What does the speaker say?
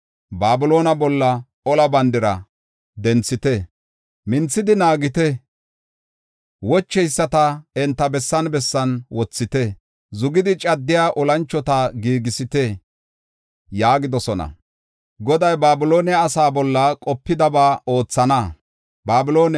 Babiloone bolla ola bandira denthite; minthidi naagite. Wocheyisata enta bessan bessan wothite; zugidi caddiya olanchota giigisite’ ” yaagidosona. Goday Babiloone asa bolla qopidabaanne ba gida ba oothana.